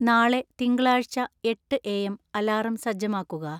നാളെ തിങ്കളാഴ്ച്ച എട്ട് എ എം അലാറം സജ്ജമാക്കുക